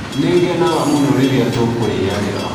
Nĩngenaga mũno rĩrĩa tũkũrĩanĩra.